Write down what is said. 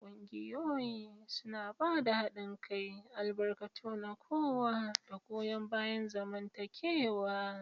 Ƙungiyoyi suna ba da haɗin kai, albarkatu na kowa, da goyon bayan zamantakewa.